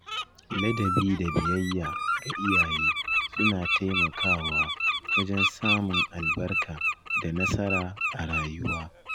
Ladabi da biyayya ga iyaye suna taimakawa wajen samun albarka da nasara a rayuwa.